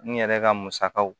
N yɛrɛ ka musakaw